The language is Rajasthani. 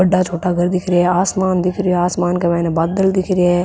बड़ा छोटा घर दिख रिया है आसमान दिख रिया है आसमान के मायने बादल दिख रिया है।